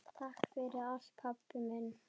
Takk fyrir allt, pabbi minn.